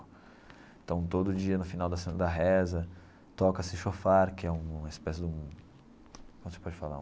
Então, todo dia, no final da sem da Reza, toca-se shofar, que é um uma espécie de um, como se pode falar,